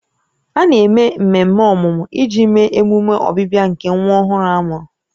A na-eme mmemme ọmụmụ iji mee emume ọbịbịa nke nwa ọhụrụ a mụrụ